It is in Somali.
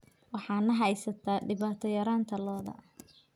Waxaa na haysata dhibaato yaraanta lo'da.